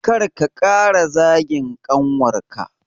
Kar ka ƙara zagin ƙanwarka